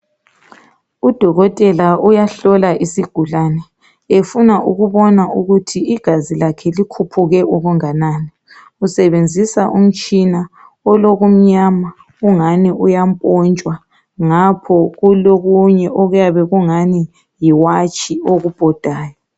Udokotela uyahlola isigulane efuna ukubona ukuthi igazi lakhe likhuphuke okunganani usebenzisa umtshina olokumnyama ongani uyampontshwa ngapho kulokunye okuyabe kungani yiwatshi okubhodayo.